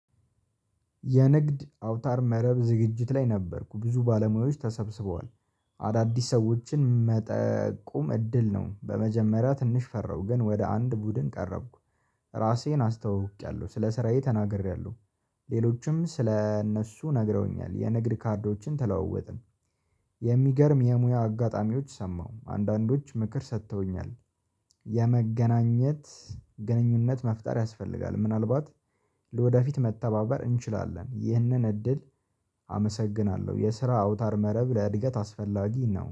የንግድ አውታር መረብ ዝግጅት ላይ ነበርኩ ብዙ ባለሙያዎች ተሰብስበዋል አዳዲስ ሰዎችን መጠቁም እድል ነው። በመጀመሪያ ትንሽ ፈራሁ ግን ወደ አንድ ቡድን ቀረብኩ ራሴን አስተዋዉቂያለሁ ስለ ስራዬ ተናግሬያለሁ። ሌሎችም ስለ እነሱ ነግረውኛል የንግድ ካርዶችን ተለወጥን የሚገርም የሙያ አጋጣሚዎች ሰማሁ አንዳንዶች ምክር ሰጥተውኛል። የመገናኘት ግንኙነት መፍጠር ያስፈልጋል ምናልባት ለወደፊት መተባበር እንችላለን። ይህንን እድል አመሰግናለሁ የስራ አውታር መረብ ለእድገት አስፈላጊ ነው